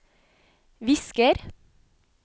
visker